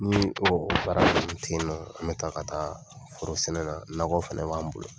Nii baara be kɛ ten nɔ, an bɛ taa ka taa foro sɛnɛ na nakɔ fɛnɛ b'an bolo.